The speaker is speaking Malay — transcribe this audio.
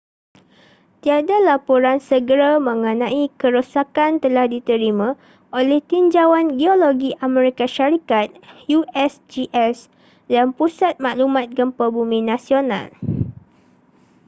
tiada laporan segera mengenai kerosakan telah diterima oleh tinjauan geologi amerika syarikat usgs dan pusat maklumat gempa bumi nasional